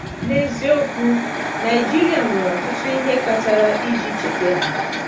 N’eziokwu, Naịjirịa nwere ọtụtụ ihe kpatara iji cheta ya.